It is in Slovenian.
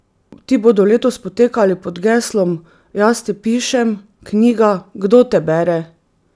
Ti bodo letos potekali pod geslom Jaz te pišem, knjiga, kdo te bere?